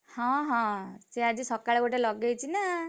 ହଁ ହଁ ସିଏ ଆଜି ସକାଳେ ଗୋଟେ ଲଗେଇଚି ନା!